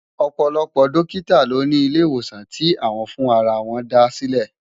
Òpòlòpò dòkitá lò ni ilé iwósán ti áwòn fún àrà wòn dásilè